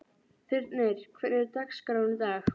Þyrnir, hvernig er dagskráin í dag?